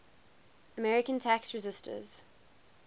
american tax resisters